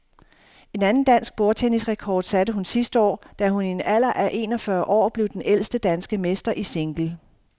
En anden dansk bordtennisrekord satte hun sidste år, da hun i en alder af en og fyrre år blev den ældste danske mester i single.